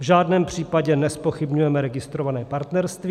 V žádném případě nezpochybňujeme registrované partnerství.